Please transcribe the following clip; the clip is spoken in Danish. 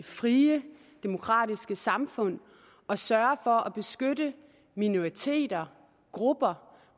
frie demokratiske samfund at sørge for at beskytte minoriteter grupper